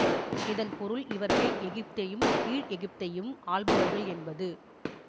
இதன் பொருள் இவர் மேல் எகிப்தையும் கீழ் எகிப்தையும் ஆள்பவர்கள் என்பது